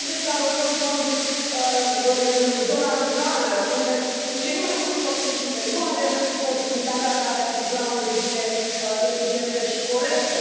Trebuie să alocăm fonduri în zona rurală, unde sunt cei mai mulți copii și unde nu avem posibilitatea de a le asigura o îngrijire eficientă și corectă.